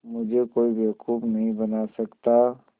मुझे कोई बेवकूफ़ नहीं बना सकता